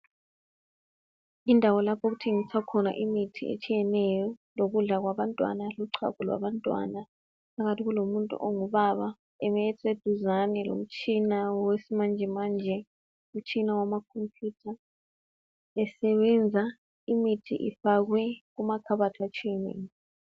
Indawo lapho okuthengiswa khona imithi etshiyeneyo lokudla kwabantwana lochago labantwana phakathi kulomuntu ongubaba eme eseduzane lomtshina wesimanjemanje umtshina wamakhompuyutha esebenza imithi ifakwe kumakhabathi atshiyeneyo.